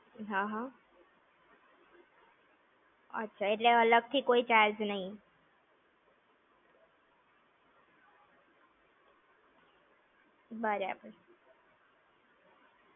હા હા. એટલે અલગ થી કોઈ charge નઈ. બરાબર.